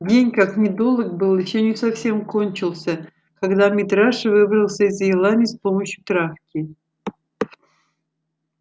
день как ни долог был ещё не совсем кончился когда митраша выбрался из елани с помощью травки